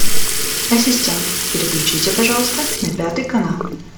ассистент переключите пожалуйста на пятый канал